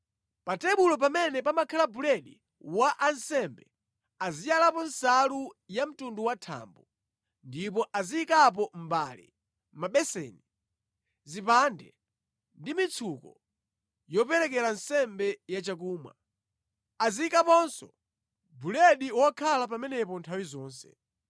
“Pa tebulo pamene pamakhala buledi wa ansembe aziyalapo nsalu ya mtundu wa thambo, ndipo aziyikapo mbale, mabeseni, zipande ndi mitsuko yoperekera nsembe yachakumwa. Aziyikaponso buledi wokhala pamenepo nthawi zonse.